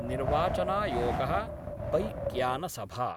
निर्वाचनायोगः बैक्यानसभा